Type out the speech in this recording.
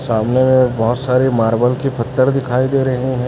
सामने बहोत सारे मार्बल के पत्थर दिखाई दे रहे हैं।